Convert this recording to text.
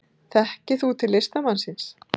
Þekkir þú til listamannsins?